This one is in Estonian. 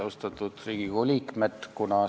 Austatud Riigikogu liikmed!